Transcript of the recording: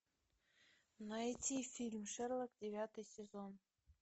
найти фильм шерлок девятый сезон